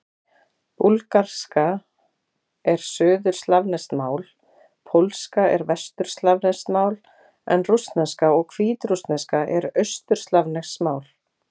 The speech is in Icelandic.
Búlgarska er suðurslavneskt mál, pólska er vesturslavneskt mál en rússneska og hvítrússneska eru austurslavnesk mál.